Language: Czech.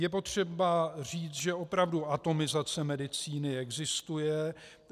Je potřeba říct, že opravdu atomizace medicíny existuje.